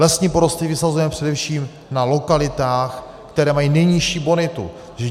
Lesní porosty vysazujeme především na lokalitách, které mají nejnižší bonitu.